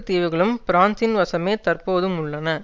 தீவுகளும் பிரான்சின் வசமே தற்போதும் உள்ளன